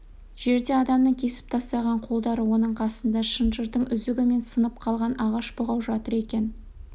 жерде адамның кесіп тастаған қолдары оның қасында шынжырдың үзігі мен сынып қалған ағаш бұғау жатыр екен